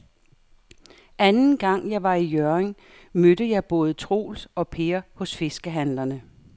Anden gang jeg var i Hjørring, mødte jeg både Troels og Per hos fiskehandlerne.